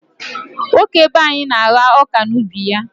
Nwoke be anyị na-agha ọka n'ubi ya.